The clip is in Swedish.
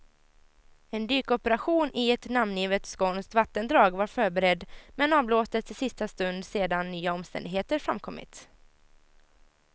En dykoperation i ett namngivet skånskt vattendrag var förberedd, men avblåstes i sista stund sedan nya omständigheter framkommit.